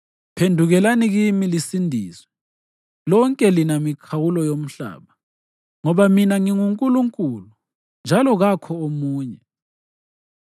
“Phendukelani kimi lisindiswe, lonke lina mikhawulo yomhlaba; ngoba mina nginguNkulunkulu, njalo kakho omunye.